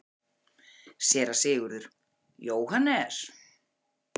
SÉRA SIGURÐUR: Jóhannes?